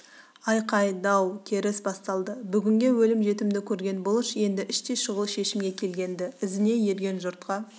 айқай дау керіс басталды бүгінгі өлім-жітімді көрген бұлыш енді іштей шұғыл шешімге келген-ді ізіне ерген жұртқа